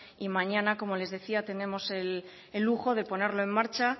y mañana como les decía tenemos el lujo de ponerlo en marcha